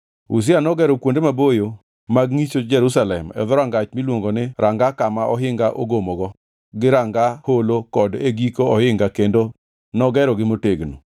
Uzia nogero kuonde maboyo mag ngʼicho Jerusalem e Dhorangach miluongo ni Ranga Kama Ohinga Ogomogo gi Ranga Holo kod e giko ohinga kendo nogerogi motegno.